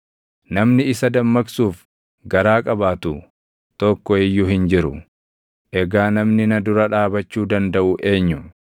Namni isa dammaqsuuf garaa qabaatu tokko iyyuu hin jiru. Egaa namni na dura dhaabachuu dandaʼu eenyu?